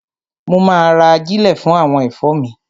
Mo ma ra ajílẹ̀ fún àwọn ẹ̀fọ́ mi.